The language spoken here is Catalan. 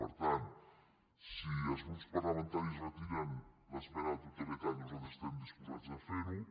per tant si els grups parlamentaris retiren l’esmena a la totalitat nosaltres estem disposats a fer ho